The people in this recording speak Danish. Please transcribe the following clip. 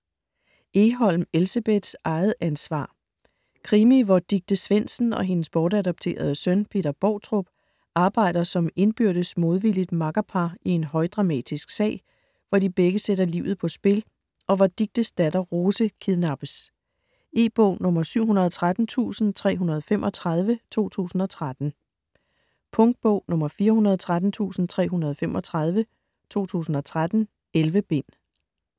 Egholm, Elsebeth: Eget ansvar Krimi hvor Dicte Svendsen og hendes bortadopterede søn, Peter Boutrup, arbejder som indbyrdes modvilligt makkerpar i en højdramatisk sag, hvor de begge sætter livet på spil, og hvor Dictes datter, Rose, kidnappes. E-bog 713335 2013. Punktbog 413335 2013. 11 bind.